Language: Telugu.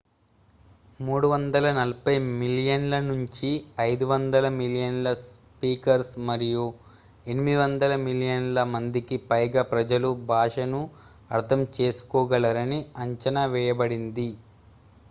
340 మిలియన్ల నుంచి 500 మిలియన్ల స్పీకర్స్ మరియు 800 మిలియన్ ల మందికి పైగా ప్రజలు భాషను అర్థం చేసుకోగలరని అంచనావేయబడింది